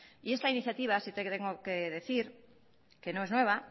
y esta iniciativa sí que tengo que decir que no es nueva